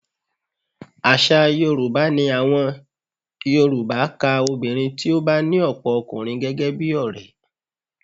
Aṣa obìnrin ni àwọn Yorùbá ka obìnrin tí ó bá ní ọ̀pọ̀ ọkùnrin gẹ́gẹ́ bí ọrẹ